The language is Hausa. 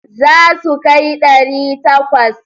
Za su kai ɗari takwas.